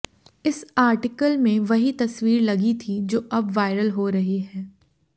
इस आर्टिकल में वही तस्वीर लगी थी जो अब वायरल हो रही है